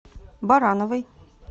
барановой